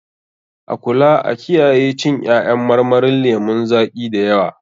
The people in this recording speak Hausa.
A kula a kiyaye cin ƴaƴan marmarin lemun zaƙi da yawa.